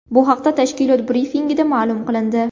Bu haqda tashkilot brifingida ma’lum qilindi .